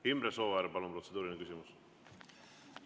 Imre Sooäär, palun, protseduuriline küsimus!